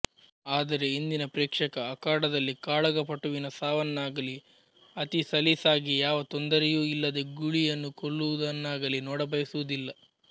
ಆದರೆ ಇಂದಿನ ಪ್ರೇಕ್ಷಕ ಅಖಾಡದಲ್ಲಿ ಕಾಳಗಪಟುವಿನ ಸಾವನ್ನಾಗಲೀ ಅತಿ ಸಲೀಸಾಗಿ ಯಾವ ತೊಂದರೆಯೂ ಇಲ್ಲದೆ ಗೂಳಿಯನ್ನು ಕೊಲ್ಲುವುದನ್ನಾಗಲೀ ನೋಡಬಯಸುವುದಿಲ್ಲ